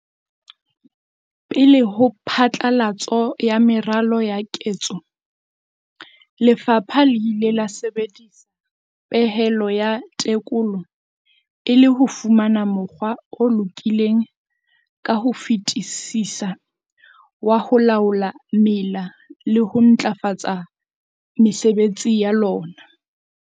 Pele ho phatlalatso ya meralo ya ketso, lefapha le ile la sebedisa pehelo ya tekolo e le ho fumana mokgwa o lokileng ka ho fetisisa wa ho laola mela le ho ntlafatsa mesebetsi ya lona.